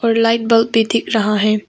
और light bulb भी दिख रहा है।